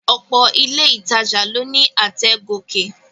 Ọ̀pọ̀ ilé ìtajà ló ní àtẹ̀ gòkè